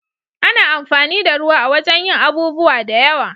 Ana amfani da ruwa a wajen yin abubuwa da yawa.